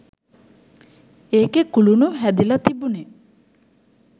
ඒකෙ කුළුණු හැදිලා තිබුණෙ